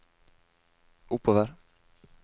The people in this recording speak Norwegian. oppover